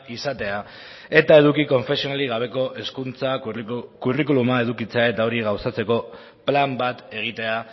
izatea eta eduki konfesionalik gabeko hezkuntza curriculuma edukitzea eta hori gauzatzeko plan bat egitea